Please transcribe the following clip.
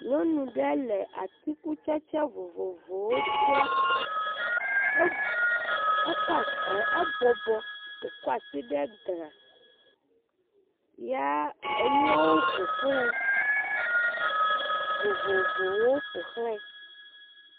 Nyɔnu ɖe le atikutsetse vovovowo dzra, ebɔbɔ wòkɔ asi ɖe glã ya enuawo ƒoxlae, vovovowo ƒoxlae.